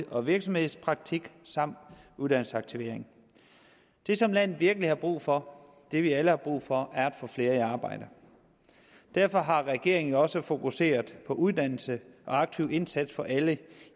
og virksomhedspraktik samt uddannelsesaktivering det som landet virkelig har brug for det vi alle har brug for er at få flere i arbejde derfor har regeringen jo også fokuseret på uddannelse og aktiv indsats for alle